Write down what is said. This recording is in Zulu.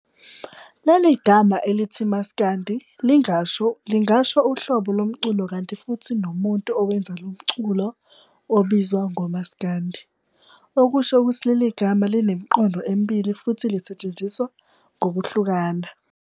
Leli gama elithi uMaskandi lingasho uhlobo lomculo kanti futhi nomuntu owenza lomculu ubizwa ngoMasikandi, okusho ukuthi leli gama linemiqondo emibilili futhi lisetshenziswa ngokushintshana.